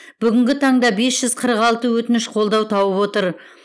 бүгінгі таңда тоғыз жүз қырық алты өтініш қолдау тауып отыр